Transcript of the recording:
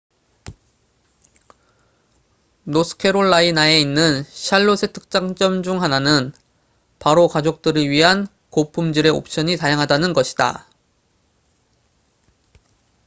노스캐롤라이나에 있는 샬롯의 특장점 중 하나는 바로 가족들을 위한 고품질의 옵션이 다양하다는 것이다